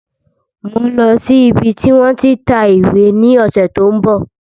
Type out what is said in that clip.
Mòń lọ sí ibi tí wọ́n tí ń ta ìwé ní ọ̀sẹ̀ tí ó ń bọ̀